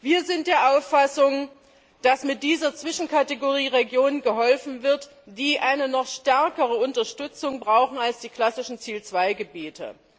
Wir sind der Auffassung, dass mit dieser Zwischenkategorie Regionen geholfen wird, die eine noch stärkere Unterstützung brauchen als die klassischen Ziel 2 Gebiete.